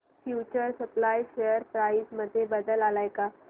future supply share price मध्ये बदल आलाय का